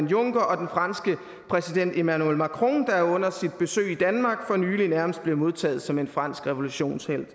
juncker og den franske præsident emmanuel macron der under sit besøg i danmark for nylig nærmest blev modtaget som en fransk revolutionshelt